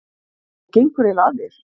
Hvað gengur eiginlega að þér?